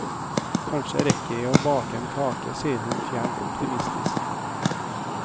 Kanskje rekker jeg å bake en kake, sier hun fjernt optimistisk.